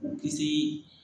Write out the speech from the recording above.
K'u kisi